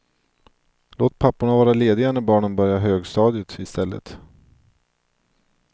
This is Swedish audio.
Låt papporna vara lediga när barnen börjar högstadiet istället.